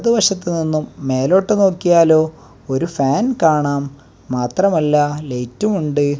ഇടത് വശത്തു നിന്നും മേലോട്ട് നോക്കിയാലോ ഒരു ഫാൻ കാണാം മാത്രമല്ല ലൈറ്റും ഉണ്ട്.